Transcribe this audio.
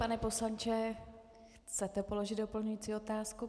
Pane poslanče, chcete položit doplňující otázku?